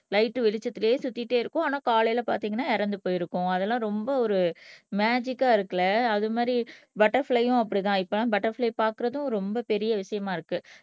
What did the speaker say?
light வெளிச்சத்திலேயே சுத்திட்டே இருக்கும் ஆனா காலையிலே பாத்தீங்கன்னா இறந்து போயிருக்கும் அதெல்லாம் ரொம்ப ஒரு மேஜிக்கா இருக்கு இல்லை அது மாதிரி பட்டர்பிளையும் அப்படித்தான் இப்போ பட்டர்பிளை பார்க்கிறதும் ரொம்ப பெரிய விஷயமா இருக்கு